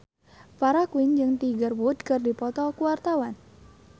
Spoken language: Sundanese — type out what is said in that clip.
Farah Quinn jeung Tiger Wood keur dipoto ku wartawan